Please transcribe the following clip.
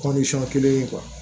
kelen ye